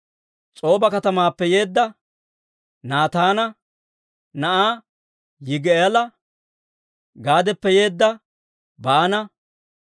S'ooba katamaappe yeedda Naataana na'aa Yigi'aala, Gaadappe yeedda Baana,